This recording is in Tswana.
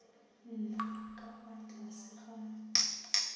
nna ka fa tlase ga